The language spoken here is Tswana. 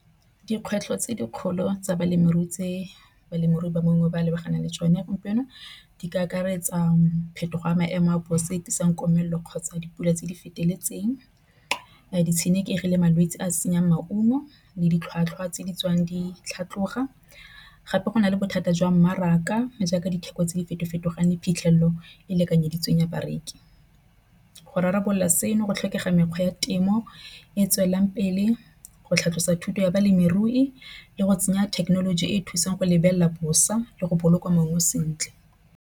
Dikgwetlho tse dikgolo tsa balemirui. Tse balemirui ba mongwe ba lebaganeng le tsone gompieno di ka akaretsa phetogo ya maemo a bosa stop sign komelelo kgotsa dipula tse di feteletseng. Di tshenekegi le malwetsi a senya maungo le ditlhwatlhwa tse di tswang di tlhatlhoga. Gape go na le bothata jwa mmaraka jaaka ditheko tse di feto fetogang le phitlhelelo e e lekanyeditsweng ya bareki go rarabolola seno. Go tlhokega mekgwa ya temo e e tswelelang pele go tlhalosa thuto ya balemirui le go tsenya thekenoloji e e thusang go lebelela bosa le go boloka mongwe sentle.